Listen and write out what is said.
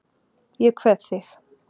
Ég kveð þig.